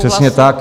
Přesně tak.